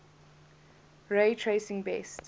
ray tracing best